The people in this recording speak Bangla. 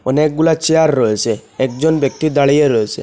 অনেকগুলা চেয়ার রয়েসে একজন ব্যক্তি দাঁড়িয়ে রয়েসে।